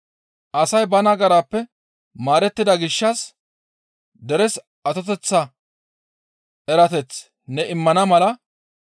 Asay ba nagarappe maarettida gishshas deres atoteththa erateth ne immana mala,